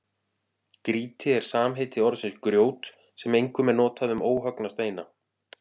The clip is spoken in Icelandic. Grýti er samheiti orðsins grjót sem einkum er notað um óhöggna steina.